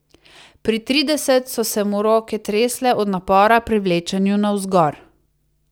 Pri trideset so se mu roke tresle od napora pri vlečenju navzgor.